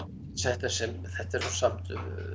þetta eru samt